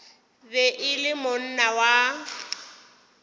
be e le monna wa